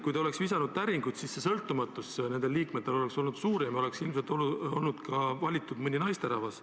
Kui te oleks täringut visanud, siis ilmselt oleks nende liikmete sõltumatus olnud suurem ja ilmselt oleks valitud ka mõni naisterahvas.